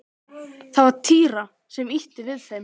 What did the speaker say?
Það var Týri sem ýtti við þeim.